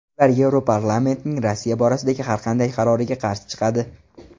Ular Yevroparlamentning Rossiya borasidagi har qanday qaroriga qarshi chiqadi.